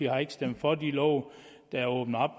har ikke stemt for de love der åbner